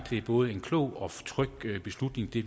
en både klog og tryg beslutning vi